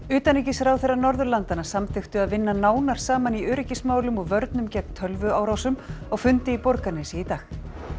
utanríkisráðherrar Norðurlandanna samþykktu að vinna nánar saman í öryggismálum og vörnum gegn tölvuárásum á fundi í Borgarnesi í dag